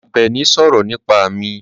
Àbẹ̀ní sọ̀rọ̀ nípa mi.